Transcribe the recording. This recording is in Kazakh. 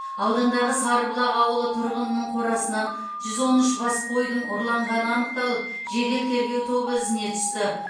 аудандағы сарыбұлақ ауылы тұрғынының қорасынан жүз он үш бас қойдың ұрланғаны анықталып жедел тергеу тобы ізіне түсті